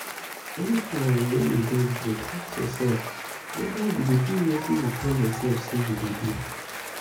anytime wey you get break ask yourself whether you dey do wetin you tell yourself say you go do